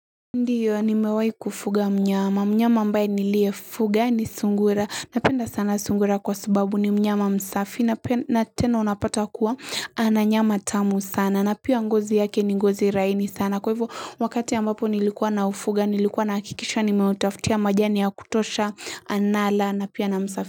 Ndio, nimewahi kufuga mnyama. Mnyama ambaye niliyefuga ni sungura. Napenda sana sungura kwa sababu ni mnyama msafi, na tena unapata kuwa ana nyama tamu sana, na pia ngozi yake ni ngozi laini sana, kwa hivyo wakati ambapo nilikuwa na ufuga, nilikuwa nahakikisha, nimeutafutia majani ya kutosha, anala, na pia na msafisha.